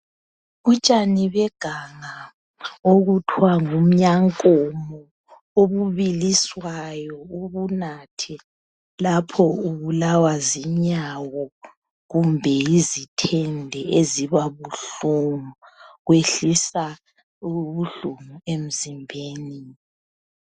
Utshani beganga obuthiwa ngumnyankomo obubiliswayo ubunathe lapho ubulawa zinyawo kumbe yizithende eziba buhlungu. Kwehlisa ubuhlungu emzimbeni.